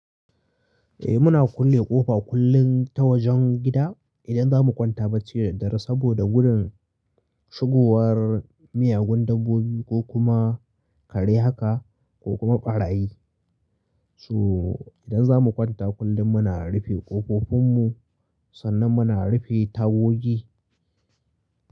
Eh muna kulle ƙofa kullin ta wajen gida, idan za mu kwanta bacci da daddare, saboda gudun shigowar miyagun dabbobi ko kuma, kare haka ko kuma ɓarayi. So, idan za mu kwanta kullin muna rufe ƙofofin mu, sannan muna rufe tagogi,